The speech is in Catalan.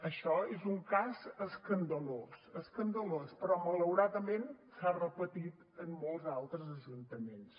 això és un cas escandalós escandalós però malauradament s’ha repetit en molts altres ajuntaments